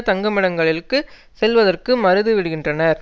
தங்குமிடங்களுக்கு செல்வதற்கு மறுதுவிடுகின்றனர்